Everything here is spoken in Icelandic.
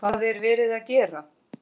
Hvað er verið að gera?